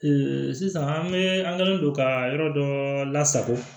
sisan an bɛ an kɛlen don ka yɔrɔ dɔ lasago